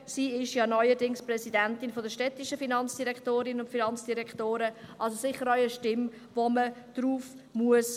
Sie ist ja neuerdings Präsidentin der städtischen Finanzdirektorinnen und Finanzdirektoren – also sicher eine Stimme, auf die man hören muss.